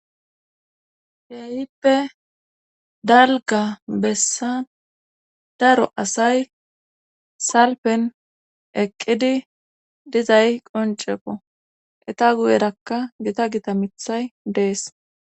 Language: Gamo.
Keehippe dalga bessa daro asay salpen eqqidi dizay qoncepo eta guyerakka gita gita mithay dees